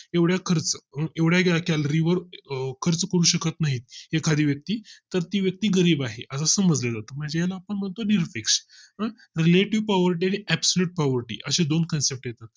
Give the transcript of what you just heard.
एवढा खर्च एवढ्या calorie वर खर्च करू शकत नाही एखादी व्यक्ती तर ती व्यक्ती गरीब आहे असं समजलं जात म्हणजे याला आपण म्हणतो निरपेक्ष तुम्हाला Reletive poverty and absolute poverty असे दोन concept येतात